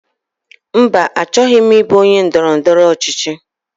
Mba, achọghị m ịbụ onye ndọrọndọrọ ọchịchị.